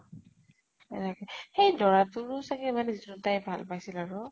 এনেকে । সেই দৰাতোৰো চাগে মানে জোনতোক তাই ভাল পাইছিল আৰু